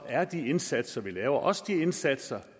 er de indsatser vi laver også de indsatser